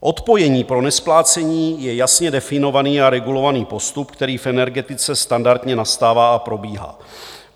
Odpojení pro nesplácení je jasně definovaný a regulovaný postup, který v energetice standardně nastává a probíhá.